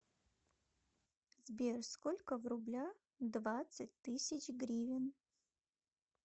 сбер сколько в рублях двадцать тысяч гривен